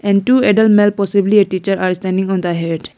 and two adult male possibly a teacher are standing on the .